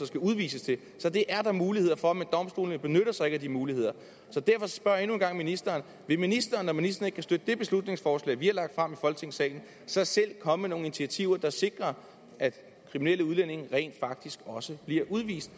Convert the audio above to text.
skal udvises til så det er der muligheder for men domstolene benytter sig ikke af de muligheder derfor spørger jeg endnu en gang ministeren vil ministeren når ministeren ikke kan støtte det beslutningsforslag vi i folketingssalen så selv komme med nogle initiativer der sikrer at kriminelle udlændinge rent faktisk også bliver udvist